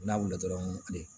N'a wulila dɔrɔn